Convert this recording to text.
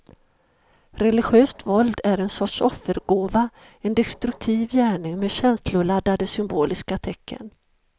Religiöst våld är en sorts offergåva, en destruktiv gärning med känsloladdade symboliska tecken.